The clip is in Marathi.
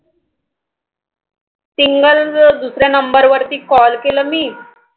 SIngle दुसऱ्या Number वरती Call केलं मी,